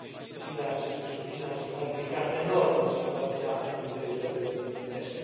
Ținerea acestui scrutin ar fi complicat enorm situația în teritoriile din est.